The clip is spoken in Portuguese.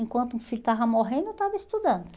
Enquanto o filho estava morrendo, eu estava estudando.